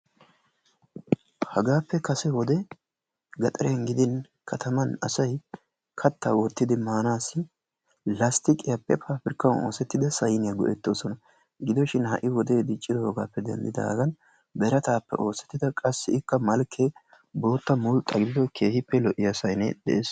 Hagaappe kase wode gaxariyan gidin kataman asayi kattaa wottidi maamaassi lasttiyiqiyappe paapirkkan oosettida sayiniya go"ettoosona. Gido shin ha"i wodee diccidoogaappe denddidaagan birataappe oosettida qassikka malkkee bootta mulxxa gidido keehippe lo'iya sayinee de"es.